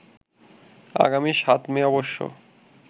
আগামী ৭ মে অবশ্য